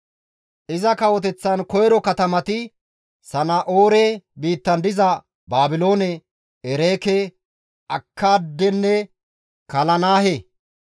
Iza kawoteththan koyro katamati Sana7oore biittan diza Baabiloone, Ereeke, Akkaadenne Kalanahe.